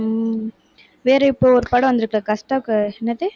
உம் வேற இப்ப ஒரு படம் வந்துருக்கே கஷ்டா~ என்னது?